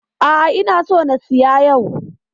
A'a, ina so na siya yau.